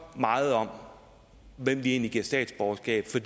meget om hvem vi egentlig giver statsborgerskab for